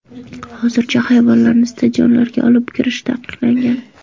Hozircha hayvonlarni stadionlarga olib kirish taqiqlangan.